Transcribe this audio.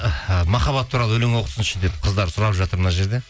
махаббат туралы өлең оқысыншы деп қыздар сұрап жатыр мына жерде